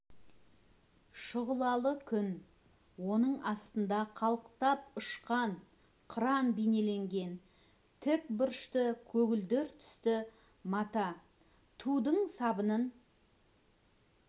шұғылалы күн оның астында қалықтап ұшқан қыран бейнеленген тік бұрышты көгілдір түсті мата тудың сабының